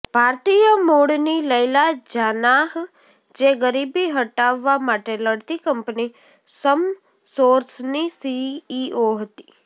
ભારતીય મૂળની લૈલા જાનાહ જે ગરીબી હટાવવા માટે લડતી કંપની સમસોર્સની સીઈઓ હતી